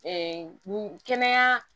kɛnɛya